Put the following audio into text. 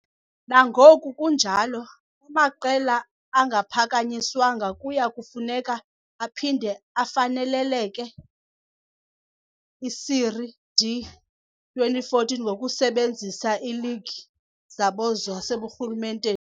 Nangoku kunjalo, amaqela angaphakanyiswanga kuya kufuneka aphinde afanelekele i -Série D 2014 ngokusebenzisa iiligi zabo zaseburhulumenteni.